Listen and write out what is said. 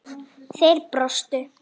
Þeir brostu.